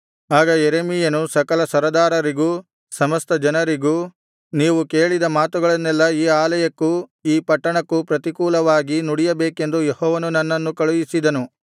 ಆಗ ಯೆರೆಮೀಯನು ಸಕಲ ಸರದಾರರಿಗೂ ಸಮಸ್ತ ಜನರಿಗೂ ನೀವು ಕೇಳಿದ ಮಾತುಗಳನ್ನೆಲ್ಲಾ ಈ ಆಲಯಕ್ಕೂ ಈ ಪಟ್ಟಣಕ್ಕೂ ಪ್ರತಿಕೂಲವಾಗಿ ನುಡಿಯಬೇಕೆಂದು ಯೆಹೋವನು ನನ್ನನ್ನು ಕಳುಹಿಸಿದನು